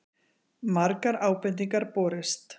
Margar ábendingar borist